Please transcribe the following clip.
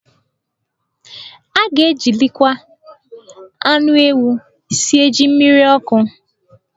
A ga-ejilikwa anụ ewu esi jí mmiriọkụ.